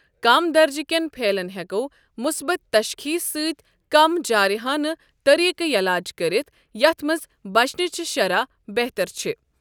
كم درجہ كین پھیلن ہیكو مُصبت تشخیص سۭتۍ كم جٲرِحانہٕ طریقہٕ یلاج كرِتھ ،یتھ منٛز بچنٕچہِ شرح بہتر چھِ۔